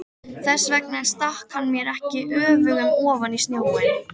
Þess vegna stakk hann mér ekki öfugum ofan í snjóinn.